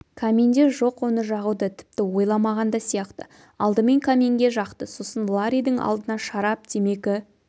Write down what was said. каминде жоқ оны жағуды тіпті ойламаған да сияқты алдымен каминге жақты сосын ларридің алдына шарап темекі